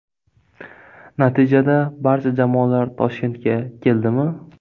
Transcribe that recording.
Natijada barcha jamoalar Toshkentga keldi mi ?